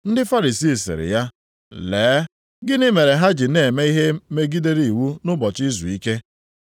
Ndị Farisii siri ya, “Lee, gịnị mere ha ji na-eme ihe megidere iwu nʼụbọchị izuike.”